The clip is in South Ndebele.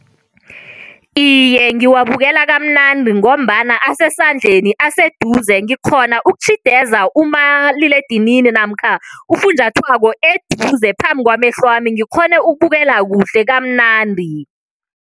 Iye, ngiwabukela kamnandi ngombana asesandleni aseduze ngikghona ukutjhideza umaliledinini namkha ufunjathwako eduze phambi kwamehlwami ngikghone ukubukela kuhle kamnandi.